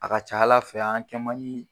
A ka ca Ala fɛ an kɛ man di